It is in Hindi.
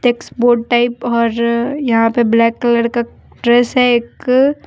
एक्सबोड टाइप और यहां पे ब्लैक कलर का ड्रेस है एक--